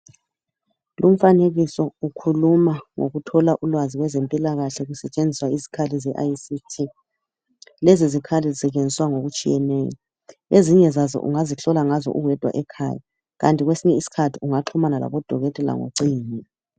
Lumfanekiso ukhuluma ngokuthola ulwazi ngezempilakahle kusetshenziswa isikhali ze ict lezi zikhali zisetshenziswa ngokutshiyeneyo ezinye zaso ungazihlola ngazo uwedwa ekhaya, kanti kwesinye isikhathi ungaxhumana labodokotela ngocingo.